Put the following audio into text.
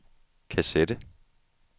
kassette